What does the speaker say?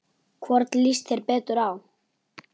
Hvorn líst þér betur á?